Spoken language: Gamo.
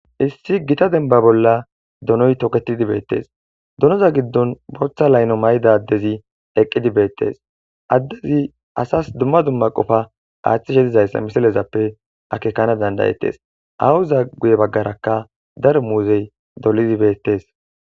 Issi Gita demba bolla donoy toketid betes, donoza giddon bootha laylo Mayda adezi eqid betes, adezi asasi dumma dumma Qopa aathishe dizaysa misilezappe akekana danda'etes. Aawoza guye bagaraka daro muuzey dolid beetesi.